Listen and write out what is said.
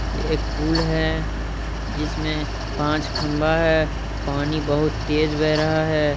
ये एक पुल है जिस में पाच खम्भा है पानी बहुत तेज बह रहा है।